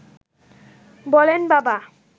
বলেন বাবা